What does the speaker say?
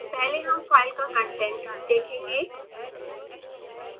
पहले हम फाइल का कंटेंट देखेंगे